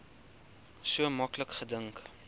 so maklik gedink